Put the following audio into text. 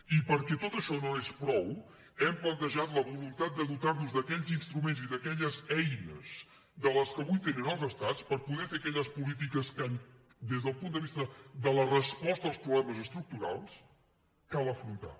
i perquè tot això no és prou hem plantejat la voluntat de dotar nos d’aquells instruments i d’aquelles eines de les que avui tenen els estats per poder fer aquelles polítiques que des del punt de vista de la resposta als problemes estructurals cal afrontar